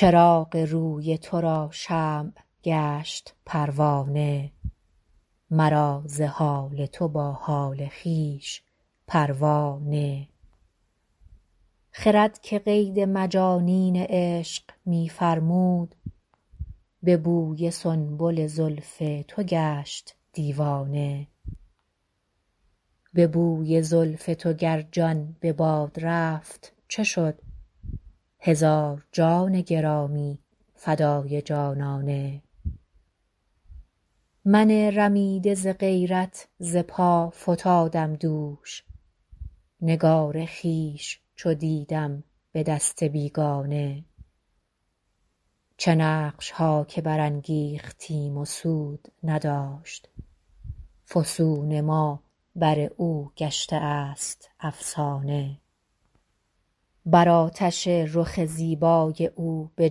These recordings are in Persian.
چراغ روی تو را شمع گشت پروانه مرا ز حال تو با حال خویش پروا نه خرد که قید مجانین عشق می فرمود به بوی سنبل زلف تو گشت دیوانه به بوی زلف تو گر جان به باد رفت چه شد هزار جان گرامی فدای جانانه من رمیده ز غیرت ز پا فتادم دوش نگار خویش چو دیدم به دست بیگانه چه نقش ها که برانگیختیم و سود نداشت فسون ما بر او گشته است افسانه بر آتش رخ زیبای او به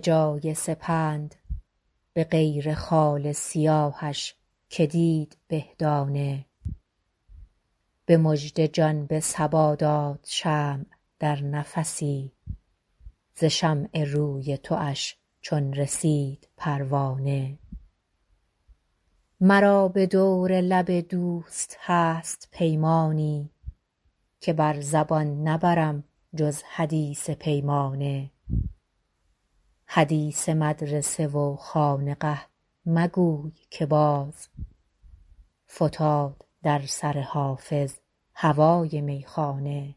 جای سپند به غیر خال سیاهش که دید به دانه به مژده جان به صبا داد شمع در نفسی ز شمع روی تواش چون رسید پروانه مرا به دور لب دوست هست پیمانی که بر زبان نبرم جز حدیث پیمانه حدیث مدرسه و خانقه مگوی که باز فتاد در سر حافظ هوای میخانه